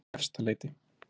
Efstaleiti